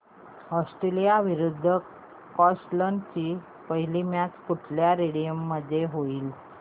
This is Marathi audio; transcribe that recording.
ऑस्ट्रेलिया विरुद्ध स्कॉटलंड ची पहिली मॅच कुठल्या स्टेडीयम ला होईल